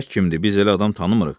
Mədəd kimdir, biz elə adam tanımırıq?